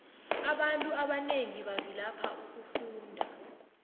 abantu abanengi bavilapha ukufunda